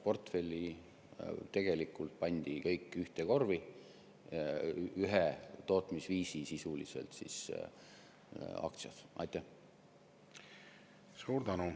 Portfell tegelikult pandi kõik ühte korvi, need olid sisuliselt ühe tootmisviisi aktsiad.